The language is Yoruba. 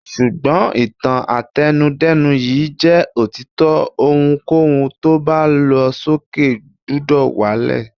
Ṣùgbọ́n, ìtàn àtẹnu-dẹ́nu yìí jẹ́ òtítọ́, ohunkóhun tó bá lọ sókè gbúdọ̀ wá lẹ̀.